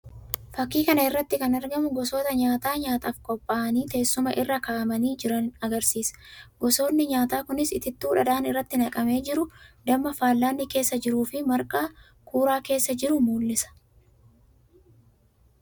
Fakkii kana irratti kan argamu gosoota nyaataa nyaataaf qopha'anii teessuma irra ka'amanii jiran agarsiisa. Gosoonni nyaataa kunis itittuu dhadhaan irratti naqamee jiru, damma fallaanni keessa jiruu fi marqaa kuuraa keessa jiru mul'isa.